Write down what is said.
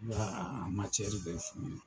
N ka a bɛɛ f'u ɲɛna .